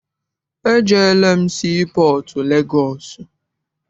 Ejeela m sii pọọtụ Legọọsị.